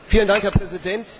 Herr Präsident!